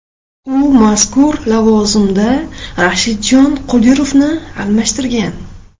U mazkur lavozimda Rashidjon Qodirovni almashtirgan.